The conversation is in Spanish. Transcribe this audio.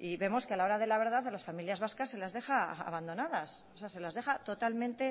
y vemos que a la hora de la verdad a las familias vascas se las deja abandonadas o sea se las deja totalmente